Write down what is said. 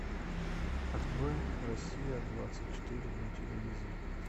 открой россия двадцать четыре на телевизоре